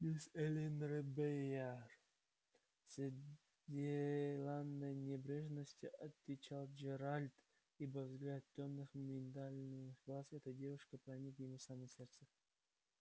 мисс эллин робийяр с деланной небрежностью отвечал джералд ибо взгляд тёмных миндалевидных глаз этой девушки проник ему в самое сердце